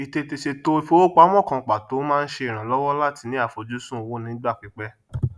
ìtètè sètò ìfowópamọn kan pàtó máa ń ṣe ìrànlọwọ láti ní àfojúsùn owó onígbà pípẹ